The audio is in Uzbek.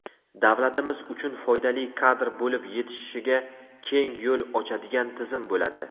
davlatimiz uchun foydali kadr bo‘lib yetishishiga keng yo‘l ochadigan tizim bo‘ladi.